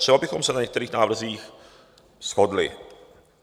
Třeba bychom se na některých návrzích shodli.